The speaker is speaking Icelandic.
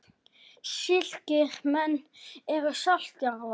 Slíkir menn eru salt jarðar.